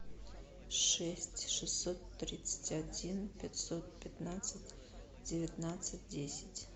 шесть шестьсот тридцать один пятьсот пятнадцать девятнадцать десять